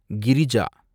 Girija